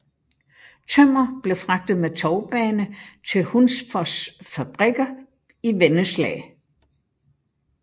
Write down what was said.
Tømmer blev fragtet med tovbane til Hunsfos fabrikker i Vennesla